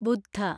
ബുദ്ധ